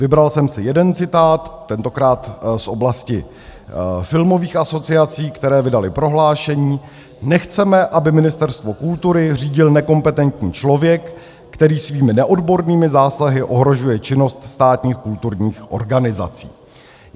Vybral jsem si jeden citát, tentokrát z oblasti filmových asociací, které vydaly prohlášení: Nechceme, aby Ministerstvo kultury řídil nekompetentní člověk, který svými neodbornými zásahy ohrožuje činnost státních kulturních organizací.